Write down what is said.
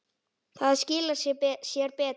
Það skilar sér betur.